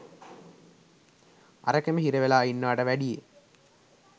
අරකෙම හිරවෙලා ඉන්නවට වැඩියෙ.